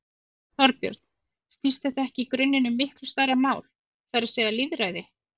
Þorbjörn: Snýst þetta ekki í grunninn um miklu stærra mál, það er að segja lýðræði?